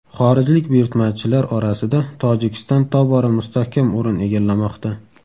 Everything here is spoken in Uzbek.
Xorijlik buyurtmachilar orasida Tojikiston tobora mustahkam o‘rin egallamoqda.